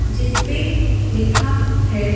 जिस पे लिखा है।